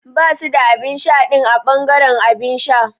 Basu da abinsha din a bangaren abinsha.